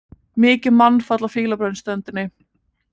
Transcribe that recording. Mikið mannfall á Fílabeinsströndinni